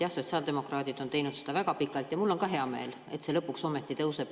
Jah, sotsiaaldemokraadid on teinud seda väga pikalt, ja mul on ka hea meel, et see lõpuks ometi tõuseb.